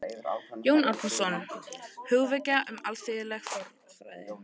Jón Árnason: Hugvekja um alþýðleg fornfræði